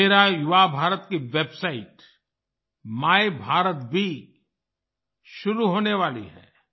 मेरा युवा भारत की वेबसाइट मायभारत भी शुरू होने वाली है